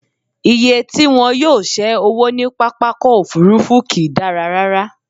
Iye tí wọn yóò ṣé owó ní pápákọ̀-òfurufú kì í dára rárá.